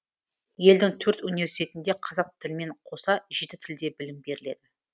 елдің төрт университетінде қазақ тілімен қоса жеті тілде білім беріледі